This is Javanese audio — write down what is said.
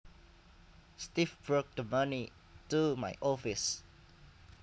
Steve brought the money to my office